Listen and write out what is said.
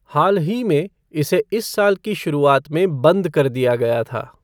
हाल ही में, इसे इस साल की शुरुआत में बंद कर दिया गया था।